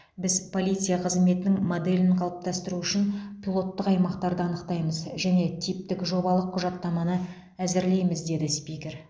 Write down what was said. біз полиция қызметінің моделін қалыптастыру үшін пилоттық аймақтарды анықтаймыз және типтік жобалық құжаттаманы әзірлейміз деді спикер